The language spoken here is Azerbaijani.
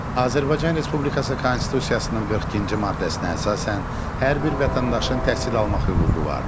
Azərbaycan Respublikası Konstitusiyasının 42-ci maddəsinə əsasən hər bir vətəndaşın təhsil almaq hüququ vardır.